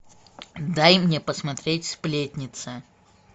дай мне посмотреть сплетница